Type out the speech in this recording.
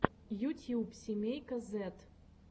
ютьюб семейка зэд